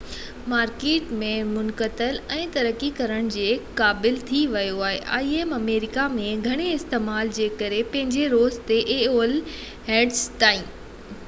هينئر تائين aol آمريڪا ۾ گهڻي استعمال جي ڪري پنهنجي زور تي im مارڪيٽ ۾ منتقل ۽ ترقي ڪرڻ جي قابل ٿي ويو آهي